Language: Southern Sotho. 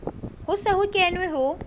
ho se ho kenwe ho